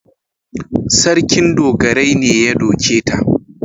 Sarkin dogarai ne ya doke ta.